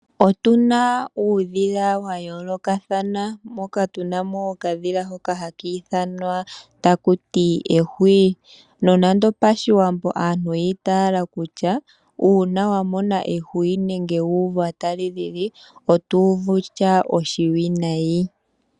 Otuna uudhila wayoolokathana moka tuna mo okadhila hoka haka ithanwa taku tiwa ehwiyu. Nonando pashiwambo aantu oyi itaala kutya uuna wamona ehwiyu nenge wu uva tali lili oto uvu oshinima oshiwinayi.